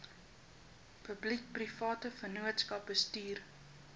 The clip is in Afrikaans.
publiekeprivate vennootskappe bestuur